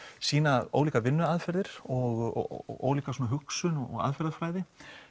sýna ólíkar vinnuaðferðir og ólíka hugsun og aðferðafræði